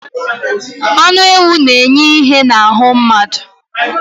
Anụ ewụ na - enye ìhè na ahụ mmadụ.